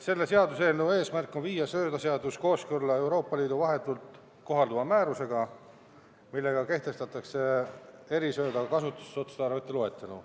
Selle seaduseelnõu eesmärk on viia söödaseadus kooskõlla Euroopa Liidu vahetult kohalduva määrusega, millega kehtestatakse erisööda kasutusotstarvete loetelu.